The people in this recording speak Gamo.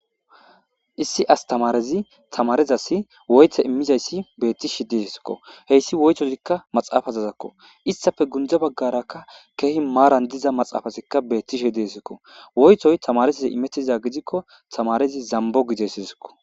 Issi asitamarezzi tamarezzassi woyite immizayissi dezayissakko bettishshe dizayissakko hesi woyittozokko isitappe gunidee bagaraka kehi maranni diza maaxafezzikka betishshe dizayisako ,woyitoyi tamarezzassi imettiza gidikko tamarezzi zambbo gides.